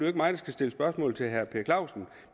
ikke mig der skal stille spørgsmål til herre per clausen